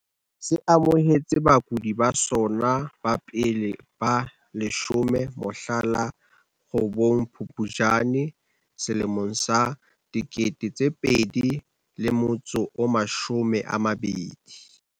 Se amohetse bakudi ba sona ba pele ba 10 mohla la 8 Phuptjane 2020.